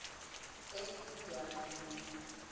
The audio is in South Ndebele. endwani